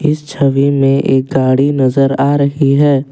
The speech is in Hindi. इस छवि में एक गाड़ी नजर आ रही है।